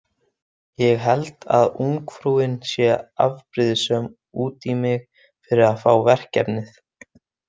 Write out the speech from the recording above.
Ég held að ungfrúin sé afbrýðisöm út í mig fyrir að fá verkefnið.